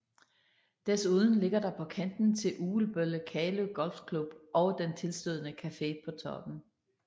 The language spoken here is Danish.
Desuden ligger der på kanten til Ugelbølle Kalø Golf Club og den tilstødende Café på Toppen